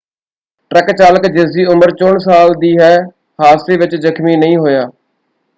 Truck ਚਾਲਕ ਜਿਸਦੀ ਉਮਰ 64 ਸਾਲ ਦੀ ਹੈ ਹਾਦਸੇ ਵਿੱਚ ਜਖ਼ਮੀ ਨਹੀਂ ਹੋਇਆ।